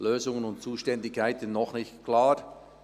Lösungen und Zuständigkeiten noch nicht klar.